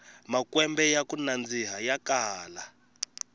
makwembe yaku nandzika ya kala